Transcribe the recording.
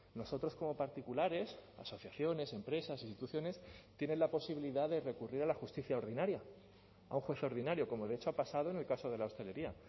nosotros como particulares asociaciones empresas instituciones tienen la posibilidad de recurrir a la justicia ordinaria a un juez ordinario como de hecho ha pasado en el caso de la hostelería